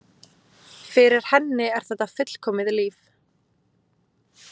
Fyrir henni er þetta fullkomið líf.